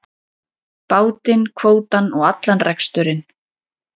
Bátinn, kvótann og allan reksturinn.